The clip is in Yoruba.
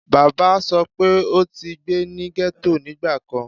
baba sọ pe o ti gbe ni ghetto nigbakan